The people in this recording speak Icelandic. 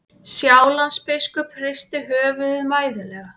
Sjálandsbiskup hristi höfuðið mæðulega.